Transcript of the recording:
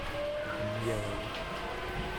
дьяволы